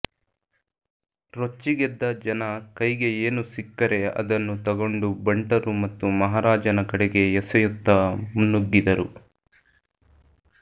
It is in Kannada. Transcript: ರೊಚ್ಚಿಗೆದ್ದ ಜನ ಕೈಗೆ ಏನು ಸಿಕ್ಕರೆ ಅದನ್ನು ತಗೊಂಡು ಬಂಟರು ಮತ್ತು ಮಹಾರಾಜನ ಕಡೆಗೆ ಎಸೆಯುತ್ತ ಮುನ್ನುಗ್ಗಿದರು